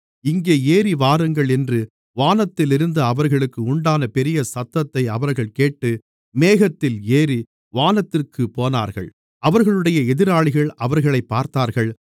இங்கே ஏறிவாருங்கள் என்று வானத்திலிருந்து அவர்களுக்கு உண்டான பெரிய சத்தத்தை அவர்கள் கேட்டு மேகத்தில் ஏறி வானத்திற்குப் போனார்கள் அவர்களுடைய எதிராளிகள் அவர்களைப் பார்த்தார்கள்